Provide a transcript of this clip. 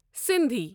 Sindhi